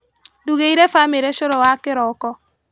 Ndugĩire bamĩrĩ cũrũ wa kĩroko.